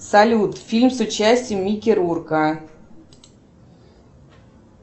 салют фильм с участием микки рурка